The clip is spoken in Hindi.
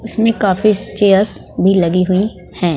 इसमें काफी चेयर भी लगी हुईं हैं।